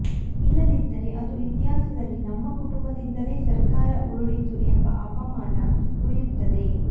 ಇಲ್ಲದಿದ್ದರೆ ಅದು ಇತಿಹಾಸದಲ್ಲಿ ನಮ್ಮ ಕುಟುಂಬದಿಂದಲೇ ಸರ್ಕಾರ ಉರುಳಿತು ಎಂಬ ಅಪಮಾನ ಉಳಿಯುತ್ತದೆ